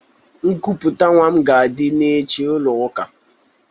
Nkuputa nwa m ga adi echi n'ụlọ ụka